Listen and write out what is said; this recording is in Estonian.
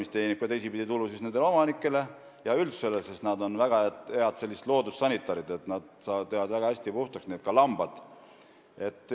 See teenib teistpidi tulu ka omanikele ja üldsusele, sest veised on väga head loodussanitarid, nad teevad kõik väga hästi puhtaks, samuti lambad.